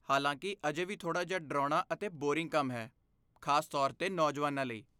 ਹਲਾਂਕਿ, ਅਜੇ ਵੀ ਥੋੜਾ ਜਿਹਾ ਡਰਾਉਣਾ ਅਤੇ ਬੋਰਿੰਗ ਕੰਮ ਹੈ, ਖਾਸ ਤੌਰ 'ਤੇ ਨੌਜਵਾਨਾਂ ਲਈ।